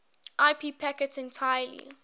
ip packets entirely